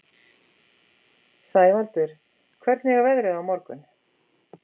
Sævaldur, hvernig er veðrið á morgun?